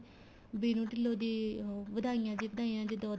ਬੀਨੂੰ ਢਿੱਲੋ ਦੀ ਵਧਾਈਆਂ ਜੀ ਵਧਾਈਆਂ ਜਦੋਂ ਉਹਦੇ